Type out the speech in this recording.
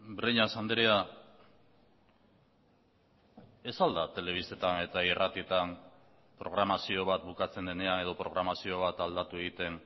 breñas andrea ez al da telebistetan eta irratietan programazio bat bukatzen denean edo programazio bat aldatu egiten